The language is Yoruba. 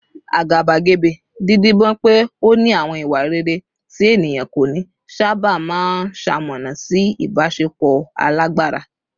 Àgàbàgebè, dídibọ́n pé ó ní àwọn ìwà rere tí ènìyàn kò ní, sábà máa ń ṣamọ̀nà sí ìbáṣepọ̀ alágbára